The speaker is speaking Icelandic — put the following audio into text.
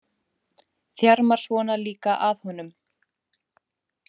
Þjarmar svona líka að honum!